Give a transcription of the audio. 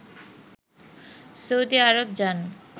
Saudi Arab যান